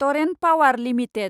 Torrent Power limited